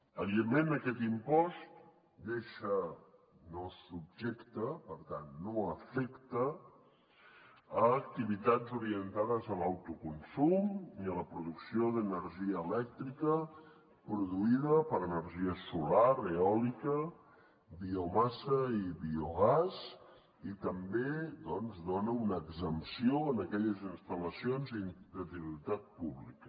evidentment aquest impost deixa no subjecte per tant no afecta activitats orientades a l’autoconsum ni a la producció d’energia elèctrica produïda per energia solar eòlica biomassa i biogàs i també doncs dona una exempció en aquelles instal·lacions de titularitat pública